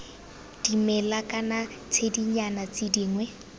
dimela kana ditshedinyana tse dingwe